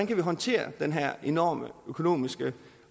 kan håndtere den her enorme økonomiske